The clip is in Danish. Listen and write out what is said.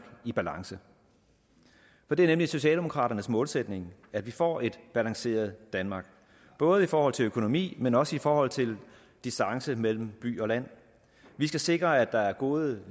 i balance for det er nemlig socialdemokraternes målsætning at vi får et balanceret danmark både i forhold til økonomi men også i forhold til distance mellem by og land vi skal sikre at der er gode